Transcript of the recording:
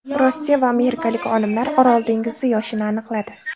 Rossiya va amerikalik olimlar Orol dengizi yoshini aniqladi.